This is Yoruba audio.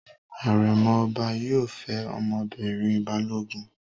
Àrẹ̀mọ ọba yóò fẹ́ ọmọbìnrin Balógun.